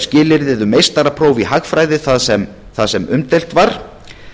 skilyrðið um meistarapróf í hagfræði það sem umdeilt var